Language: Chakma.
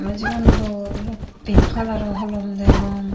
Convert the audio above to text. tey sigun dol pink coloror holom degong.